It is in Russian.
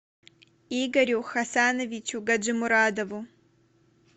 игорю хасановичу гаджимурадову